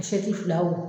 A fila wo